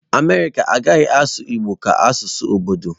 America agaghị asụ igbo ka asụsụ obodo.